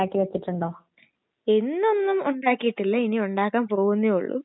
കൂടുതല് കഴിച്ചാൽ നമ്മള് ശരീരത്തിന് ദോഷമാണ് അത് പച്ചക്കറിയായാലും ദോഷം തന്നെ